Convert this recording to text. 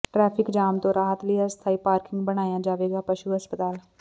traffic ਜਾਮ ਤੋਂ ਰਾਹਤ ਲਈ ਅਸਥਾਈ ਪਾਰਕਿੰਗ ਬਣਾਇਆ ਜਾਵੇਗਾ ਪਸ਼ੂੂ ਹਸਪਤਾਲ